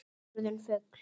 Orðin fugl.